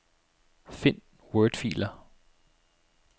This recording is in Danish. Find wordfiler.